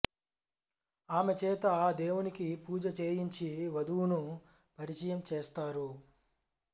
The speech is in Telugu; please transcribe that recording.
ఆమె చేత ఆ దేవునికి పూజ చేయించి వధువును పరిచయం చేస్తారు